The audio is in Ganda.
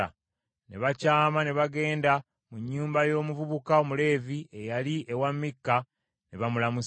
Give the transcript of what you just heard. Ne bakyama ne bagenda mu nnyumba y’omuvubuka Omuleevi eyali ewa Mikka ne bamulamusa.